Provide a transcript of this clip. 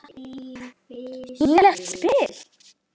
Nýtileg spil.